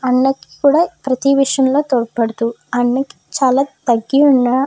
పండక్కి కూడా ప్రతి విషయాల్లో తోడ్పడుతు అన్నీ చాల తగ్గి ఉన్న--